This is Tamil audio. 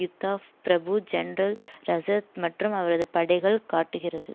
யுத்தாஃப் பிரபு ஜெனரல் ரஷித் மற்றும் அவரது படைகள் காட்டுகிறது